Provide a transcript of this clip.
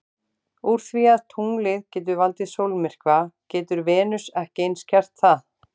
Úr því að tunglið getur valdið sólmyrkva getur Venus ekki eins gert það?